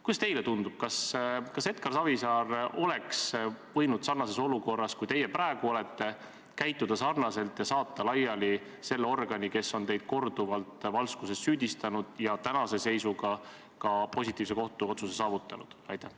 Kuidas teile tundub, kas Edgar Savisaar oleks võinud sarnases olukorras, nagu teie praegu olete, käituda sarnaselt ja saata laiali selle organi, kes on teid korduvalt valskuses süüdistanud ja tänase seisuga ka positiivse kohtuotsuse saavutanud?